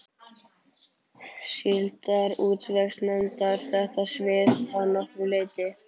Síldarútvegsnefndar, þetta svið að nokkru leyti.